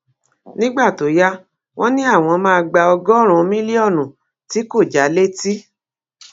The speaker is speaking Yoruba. nígbà tó yá wọn ní àwọn máa gba ọgọrùnún mílíọnù tí kò já létí